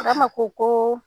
Burama ko kooo